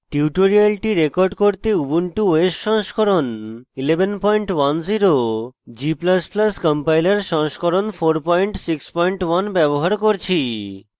tutorial record করতে Ubuntu os সংস্করণ 1110 g ++ compiler সংস্করণ 461 ব্যবহার করছি